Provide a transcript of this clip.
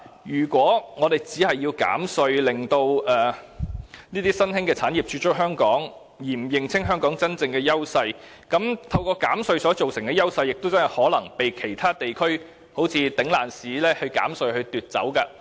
如果我們只是希望透過減稅來吸引新興產業駐足香港，卻不認清香港的真正優勢，那麼透過減稅所製造的優勢，將有可能會被其他地方以"頂爛市"的減稅方式取代。